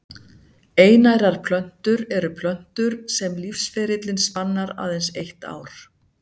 Einærar plöntur eru plöntur sem lífsferillinn spannar aðeins eitt ár.